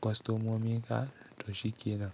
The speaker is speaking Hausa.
kwastomominka to shi kenan.